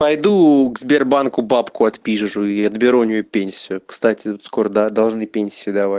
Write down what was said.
пойду к сбербанку бабку отпизжу и отберу у нее пенсию кстати скоро должны пенсию дава